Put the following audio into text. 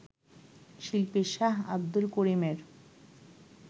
শিল্পী শাহ আব্দুল করিমের